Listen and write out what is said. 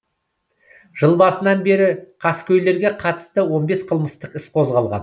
жыл басынан бері қаскөйлерге қатысты он бес қылмыстық іс қозғалған